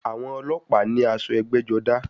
Àwọn ọlọ́pàá ní aṣọ ẹgbẹ́-jọdá.